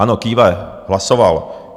Ano, kýve, hlasoval.